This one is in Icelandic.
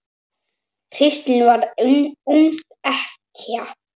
Kristín varð ung ekkja.